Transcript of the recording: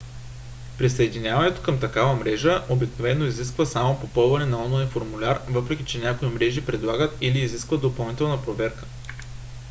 присъединяването към такава мрежа обикновено изисква само попълването на онлайн формуляр въпреки че някои мрежи предлагат или изискват допълнителна проверка